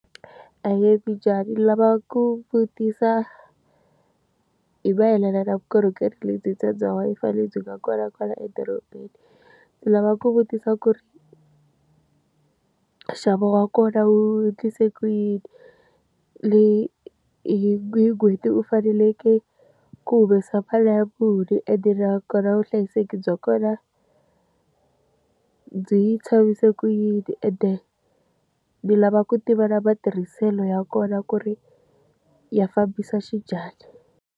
Ahee mi njhani? Ni lava ku vutisa hi mayelana na vukorhokeri lebyi bya bya Wi-Fi lebyi nga kona kwala edorobeni. Ndzi lava ku vutisa ku ri ka nxavo wa kona wu endlise ku yini? Leyi hi n'hweti u faneleke ku humesa mali muni? Ende na kona vuhlayiseki bya kona byi tshamise ku yini? Ende ni lava ku tiva na matirhiselo ya kona ku ri ya fambisa xinjhani?